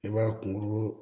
I b'a kunkolo